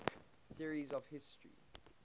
theories of history